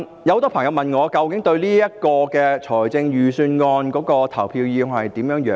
很多朋友問我對預算案的投票意向為何。